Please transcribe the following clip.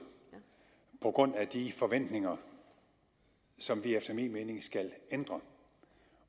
på grund af de forventninger som vi efter min mening skal ændre